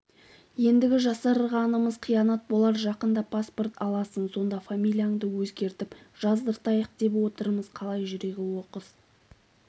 ендгі жасырғанымыз қиянат болар жақында паспорт аласың сонда фамилияңды өзгертіп жаздыртайық деп отырмыз қалай жүрегі оқыс